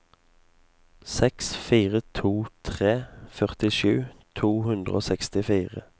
seks fire to tre førtisju to hundre og sekstifire